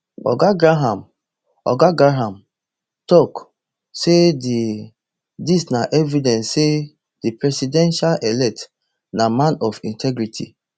oga graham oga graham tok sayd dis na evidence say di presidentelect na man of integrity